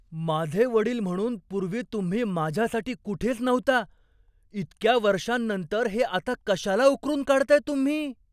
माझे वडील म्हणून पूर्वी तुम्ही माझ्यासाठी कुठेच नव्हता. इतक्या वर्षांनंतर हे आता कशाला उकरून काढताय तुम्ही?